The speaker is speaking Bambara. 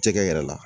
Cɛkɛ yɛrɛ la